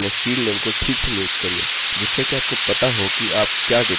किन्तु आमतौर पर अपने fieldname को ठीक से नियुक्त करिये जिससे कि आपको पता हो कि आप क्या डेटा संचय कर रहे हैं